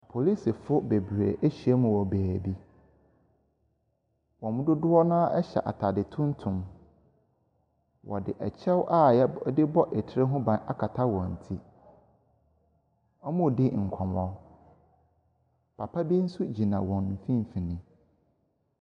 Polisifo bebree ahyiam wɔ beaeɛ bi. Wɔn mu dodoɔ no ara hyɛ ataade tuntum. Wɔde kyeɛw a yɛ wɔde tire ho ban akata wɔn ti. Wɔredi nkɔɔmɔ. Papa bi nso gyina wɔn mfinimfini.